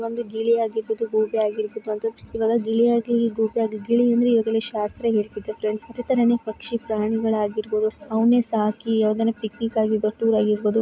ಒಂದು ಗಿಳಿ ಆಗಿರಬಹುದು ಗೂಬೆ ಆಗಿರಬಹುದು ಅದು ಗಿಳಿಯಾಗಲಿ ಗೂಬೆಯಾಗಲಿ ಗಿಳಿ ಅಂದ್ರೆ ಇವಾಗೆಲ್ಲ ಶಾಸ್ತ್ರ ಹೇಳ್ತಿದೆ ಫ್ರೆಂಡ್ಸ್ ಅದೇ ತರ ಪಕ್ಷಿ ಪ್ರಾಣಿ ಆಗಿರಬಹುದು. ಅವನೇ ಸಾಕಿ ಅದನೆ ಪಿಕ್ಟಿಕ್ ಆಗಿರಬಹುದು ಟೂರ್ ಆಗಿರಬಹುದು.